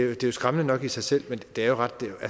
vildt det er skræmmende nok i sig selv men det er jo ret vildt